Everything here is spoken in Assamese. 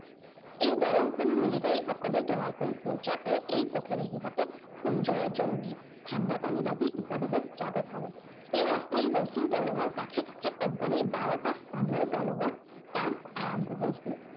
দলংখনো military সকলেই তৈয়াৰী কৰিছিল, যাতে এই পথেৰে সিহঁতে কুঞ্জ, জৌৰী, ঠাণ্ডপানী, দাবী ইত্য়াদিলৈ যাব পাৰে। এই অস্থায়ী ৰছীৰ দলঙৰ কাষে কাষে company ৰ বাৰটা স্থানৰ দলঙৰ কাম আৰম্ভ হৈছিল।